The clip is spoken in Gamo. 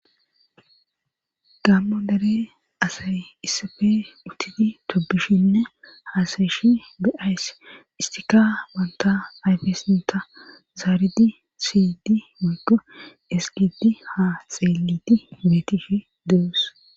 Gammo dare asay issafe uttidi tobishinne haasayeshi be7ays istika wanta ayfesinta zaaridi siydi mogo esgidi ha xeeliti beetifi dees